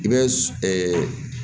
I bɛ